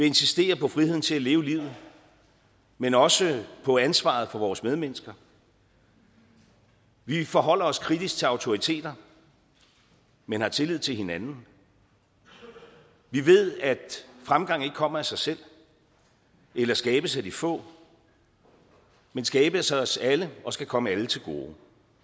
insistere på friheden til at leve livet men også på ansvaret for vores medmennesker vi forholder os kritisk til autoriteter men har tillid til hinanden vi ved at fremgang ikke kommer af sig selv eller skabes af de få men skabes af os alle og skal komme alle til gode